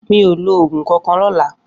Mi ó ló ógún kànkàn lòlã